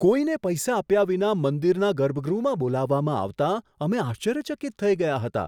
કોઈને પૈસા આપ્યા વિના મંદિરના ગર્ભગૃહમાં બોલાવવામાં આવતા અમે આશ્ચર્યચકિત થઈ ગયા હતા.